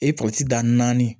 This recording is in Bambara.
E pɔsi dan naani